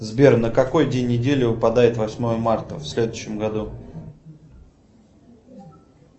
сбер на какой день недели выпадает восьмое марта в следующем году